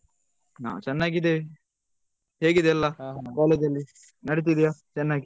ನಾವ್ ಚೆನ್ನಾಗಿದ್ದೇವೆ ಹೇಗಿದೆ ಎಲ್ಲ college ಅಲ್ಲಿ ನಡೀತಾ ಇದೆಯಾ ಚೆನ್ನಾಗಿ.